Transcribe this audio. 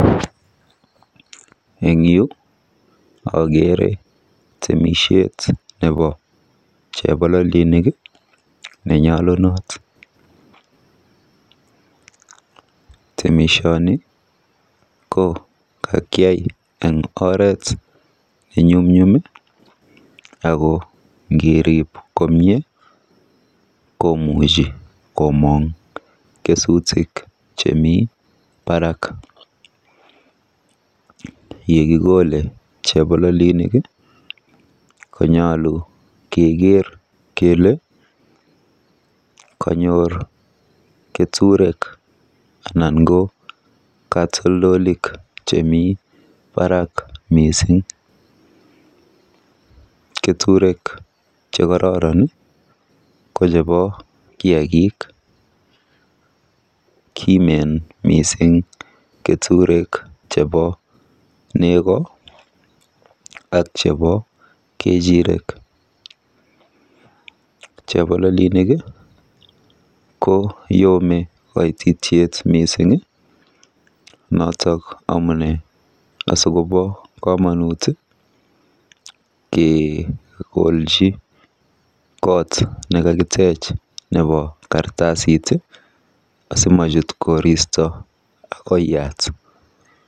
Akeree temishet neboo chebololenik nenyalunot temishani ko kakiai eng oret ne ngerib komnyee komanguu kesutik komnyee chemii barak ngekolee konyaluu kelee kanyor keturek chekotoron cheboo nengoo